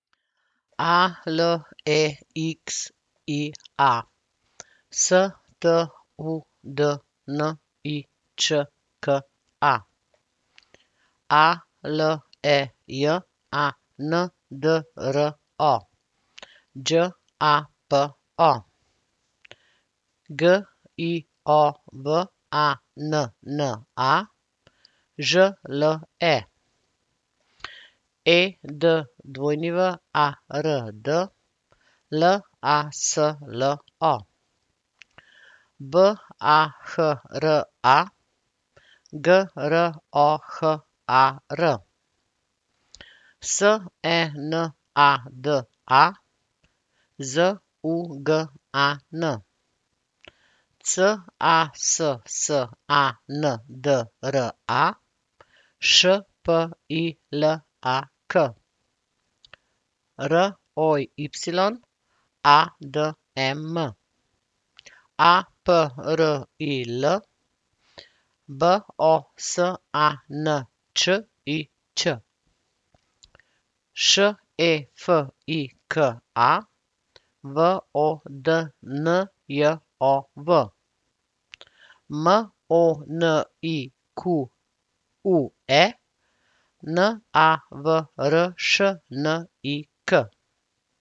A L E X I A, S T U D N I Č K A; A L E J A N D R O, Đ A P O; G I O V A N N A, Ž L E; E D W A R D, L A S L O; B A H R A, G R O H A R; S E N A D A, Z U G A N; C A S S A N D R A, Š P I L A K; R O Y, A D E M; A P R I L, B O S A N Č I Ć; Š E F I K A, V O D N J O V; M O N I Q U E, N A V R Š N I K.